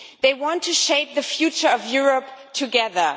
They want to shape the future of Europe together